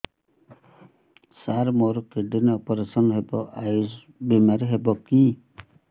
ସାର ମୋର kidney operation ହେବ ଆୟୁଷ ବିମାରେ ହେବ କି